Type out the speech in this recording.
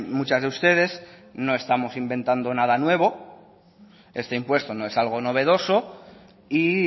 muchas de ustedes no estamos inventando nada nuevo este impuesto no es nada novedoso y